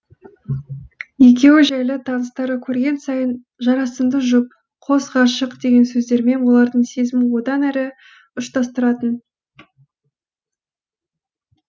екеуі жайлы таныстары көрген сайын жарасымды жұп қос ғашық деген сөздермен олардың сезімін одан әрі ұштастыратын